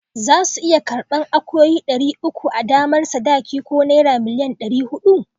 Za su iya karban akuyoyi dari uku a damar sadaki ko naira million ɗari huɗu